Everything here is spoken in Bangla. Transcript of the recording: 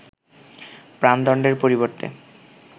প্রাণদণ্ডের পরিবর্তে